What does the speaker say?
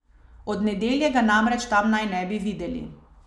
Od nedelje ga namreč tam naj ne bi videli.